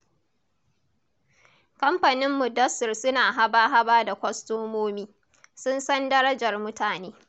Kamfanin Mudassir suna haba-haba da kwastomomi, sun san darajar mutane.